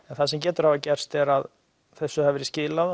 það sem getur hafa gerst er að þessu hafi verið skilað